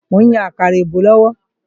Mò ń yan àkàrà èbó lọ́wọ́